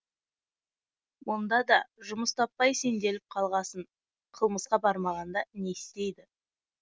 мұнда да жұмыс таппай сенделіп қалғасын қылмысқа бармағанда не істейді